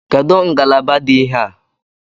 Kedụ ngalaba dị ihe a?